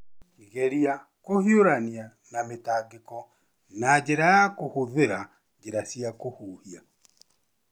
Geria kũhiũrania na mĩtangĩko na njĩra ya kũhũthĩra njĩra cia kũhuhia.